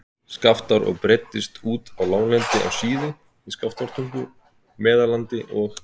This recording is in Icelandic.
Skaftár og breiddist út á láglendi á Síðu, í Skaftártungu, Meðallandi og